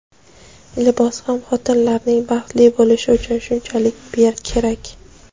libos ham xotinlarning baxtli bo‘lishi uchun shunchalik kerak.